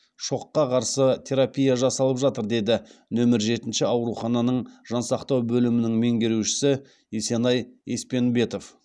шоққа қарсы терапия жасалып жатыр деді нөмір жетінші аурухананың жансақтау бөлімінің меңгерушісі есенай еспенбетов